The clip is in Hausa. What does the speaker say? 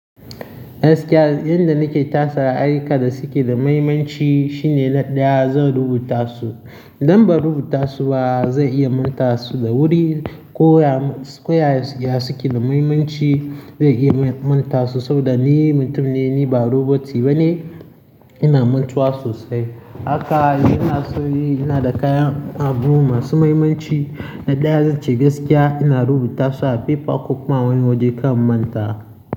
Gaskiya yanda nake tasa ayyukan da suke da mahimmanci shine na ɗaya zan rubuta su. Idan ban rubuta su ba zan iya manta su da wuri. Ko ya ko ya ya suke da mahimmanci zai iya manta su saboda ni mutum ne, ni ba roboti ba ne, ina mantuwa sosai. Haka ina so yi, ina da kayan abu masu mahimmanci na ɗaya zan ce gaskiya ina rubuta su a paper ko kuma wani waje kan manta.